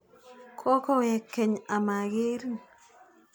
Kokowek keny ama kerin.